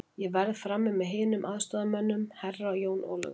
Ég verð frammi með hinum aðstoðarmönnunum, Herra Jón Ólafur.